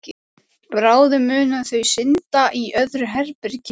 Bráðum munu þau synda í öðru herbergi.